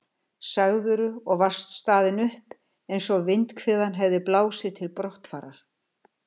sagðirðu og varst staðin upp, eins og vindhviðan hefði blásið til brottfarar.